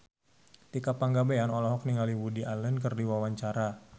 Tika Pangabean olohok ningali Woody Allen keur diwawancara